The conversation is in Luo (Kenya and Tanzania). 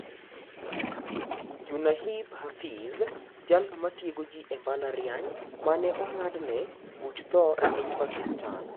Junaid Hafeez:Jalno matiego jii e mbalariany maneong'adne buch thoo epiny Pakistan